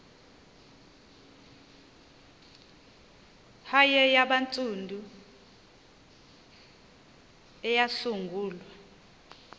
hare yabantsundu eyasungulwa